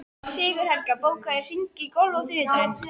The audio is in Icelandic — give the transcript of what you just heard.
Sigurhelga, bókaðu hring í golf á þriðjudaginn.